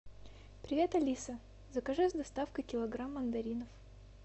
привет алиса закажи с доставкой килограмм мандаринов